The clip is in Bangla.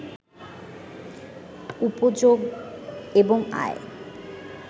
উপযোগ এবং আয়